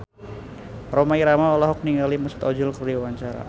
Rhoma Irama olohok ningali Mesut Ozil keur diwawancara